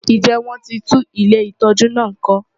Ǹjẹ́ wọ́n ti tún ilé ìtọ́jú náà kọ́?